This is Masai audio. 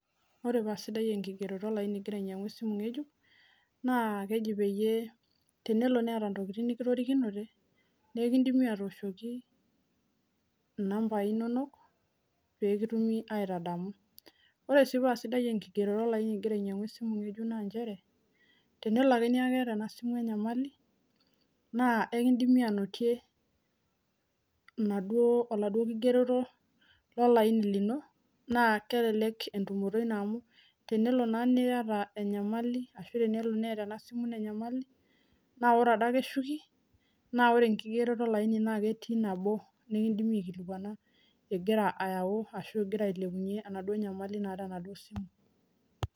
Ore paa sidai enkigeroto olaini igira ainyiang'u esimu ng'ejuk naa keji peyie tenelo neeta intokiting nikitorikinote naikindimi atooshoki inambai inonok pekitumi aitadamu ore sii paa sidai enkigerore olaini igira ainyiang'u esimu ng'ejuk naanchere tenelo ake neeku keeta ena simu enyamali naa ekindimi anotie inaduo oladuo kigeroto lolaini lino naa kelelek entumoto ino amu tenelo naa niyata enyamali ashu tenelo neeta ena simu ino enyamali naa ore adake eshuki naa ore enkigeroto olaini naa ketii nabo nikindimi aikilikuana igira ayau ashu igira ailepunyie enaduo nyamali naata enaduo simu.